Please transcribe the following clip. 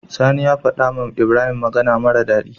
Sani ya faɗa wa ibrahim magAna mara dadi